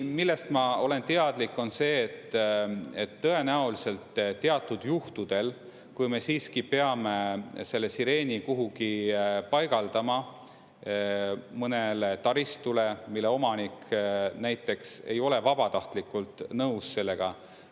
Millest ma olen teadlik, on see, et tõenäoliselt teatud juhtudel me siiski peame selle sireeni kuhugi paigaldama, mõnele taristule, mille omanik näiteks ei ole vabatahtlikult nõus sellega.